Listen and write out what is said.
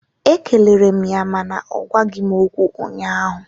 Ekelere m ya mana ọ gwaghị m okwu ụnyaahụ